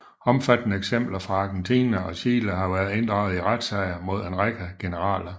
Omfattende eksempler fra Argentina og Chile har været inddraget i retssager mod en række generaler